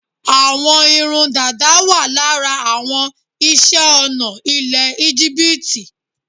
Àwọn irun dàda wà lára àwọn iṣẹ́-ọnà ilẹ̀ Íjíbítì.